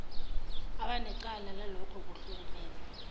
abanecala lalokhu kuhlukumeza